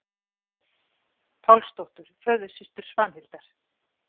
Pálsdóttur, föðursystur Svanhildar.